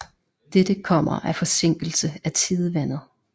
Dette kommer af forsinkelse af tidevandet